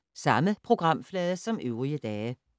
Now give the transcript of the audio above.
Samme programflade som øvrige dage